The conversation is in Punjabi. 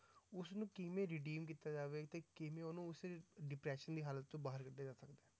ਉਸਨੂੰ ਕਿਵੇਂ redeem ਕੀਤਾ ਜਾਵੇ ਤੇ ਕਿਵੇਂ ਉਹਨੂੰ ਉਸੇ depression ਦੀ ਹਾਲਤ ਚੋਂ ਬਾਹਰ ਕੱਢਿਆ ਜਾ ਸਕਦਾ ਹੈ?